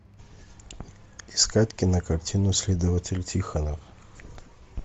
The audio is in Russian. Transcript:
искать кинокартину следователь тихонов